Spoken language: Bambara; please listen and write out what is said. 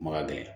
Ma ka gɛlɛn